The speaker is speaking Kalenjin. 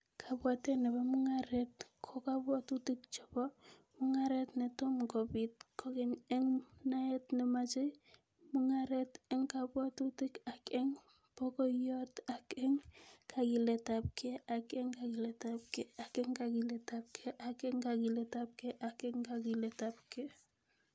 Kabwaatet ne po mung'aaret ko kabwaatutik che po mung'aaret, ne tomo kobiit kogeny eng' naet ne machei mung'aaret, eng' kabwaatutik ak eng' pagoiyot, ak eng' kagiiletapkei, ak eng' kagiiletapkei, ak eng' kagiiletapkei, ak eng' kagiiletapkei, ak eng' kagiiletapkei